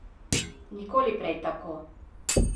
Nikoli prej tako.